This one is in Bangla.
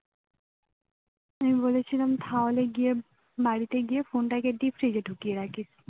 আমি বলেছিলাম তাহলে গিয়ে বাড়িতে গিয়ে phone টা কে deep fridge এ ঢুকিয়ে রাখিস